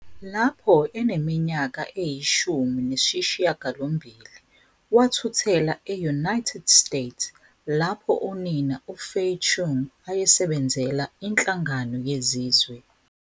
Lapho eneminyaka eyishumi nesishiyagalombili, wathuthela e-United States lapho unina uFay Chung ayesebenzela iNhlangano Yezizwe.